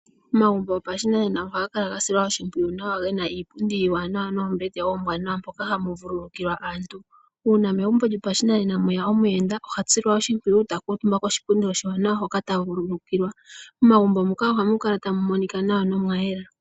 Omagumbo gopashinanena ohaga kala gasilwa oshimpwiyu nawa gena iipundi iiwanawa noombete oombwanawa moka hamu vululukilwa aantu. Uuna megumbo lyopashinena mweya omuyenda ohasilwa oshimpwiyu, takuutumba koshipundi oshiwanawa hoka tavululukilwa. Momagumbo muka ohamu kala tamu monika nawa nomwayela.